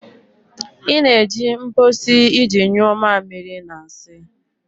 Ị na-eji mposi iji nyuo mamiri na nsị